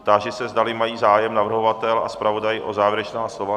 Táži se, zdali mají zájem navrhovatel a zpravodaj o závěrečná slova.